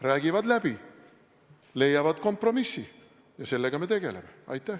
Räägivad läbi, leiavad kompromissi, ja sellega me tegeleme.